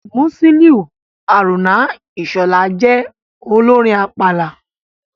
Musiliu Haruna Ishola jẹ́ olórin àpàlà.